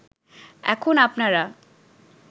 এখন আপনারা